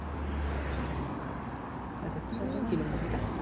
আচ্ছা কি নিয়ে ছিল মুভিটা